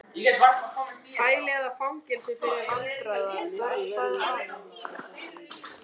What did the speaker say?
Hæli eða fangelsi fyrir vandræða- börn sagði afi.